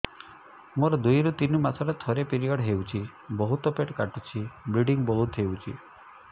ମୋର ଦୁଇରୁ ତିନି ମାସରେ ଥରେ ପିରିଅଡ଼ ହଉଛି ବହୁତ ପେଟ କାଟୁଛି ବ୍ଲିଡ଼ିଙ୍ଗ ବହୁତ ହଉଛି